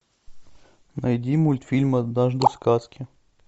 найди мультфильм однажды в сказке